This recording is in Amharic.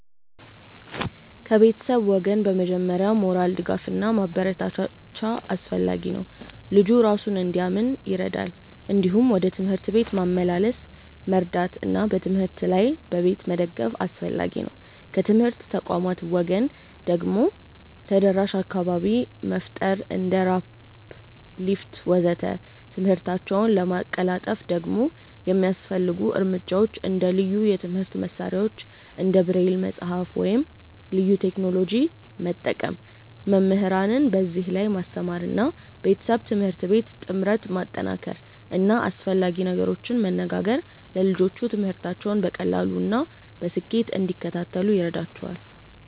ከቤተሰብ ወገን በመጀመሪያ ሞራል ድጋፍ እና ማበረታቻ አስፈላጊ ነው፣ ልጁ እራሱን እንዲያምን ይረዳል። እንዲሁም ወደ ትምህርት ቤት ማመላለስ መርዳት እና በትምህርት ላይ በቤት መደገፍ አስፈላጊ ነው። ከትምህርት ተቋማት ወገን ደግሞ ተደራሽ አካባቢ መፍጠር እንደ ራምፕ፣ ሊፍት ወዘተ..።ትምህርታቸውን ለማቀላጠፍ ደግሞ የሚያስፈልጉ እርምጃዎች እንደ ልዩ የትምህርት መሳሪያዎች እንደ ብሬል መጽሐፍ ወይም ልዩ ቴክኖሎጂ መጠቀም፣ መምህራንን በዚህ ላይ ማስተማር እና ቤተሰብ-ትምህርት ቤት ጥምረት ማጠናከር እና አስፈላጊ ነገሮችን መነጋገር ለልጆቹ ትምህርታቸውን በቀላሉ እና በስኬት እንዲከታተሉ ይረዳቸዋል።